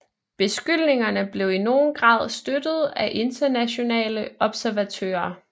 Beskyldningerne blev i nogen grad støttet af internationale observatører